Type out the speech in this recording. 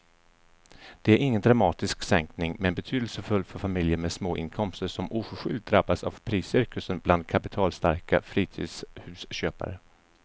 Det är ingen dramatisk sänkning men betydelsefull för familjer med små inkomster som oförskyllt drabbats av priscirkusen bland kapitalstarka fritidshusköpare.